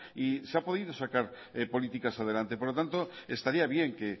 y se han podido sacar políticas adelante por lo tanto estaría bien que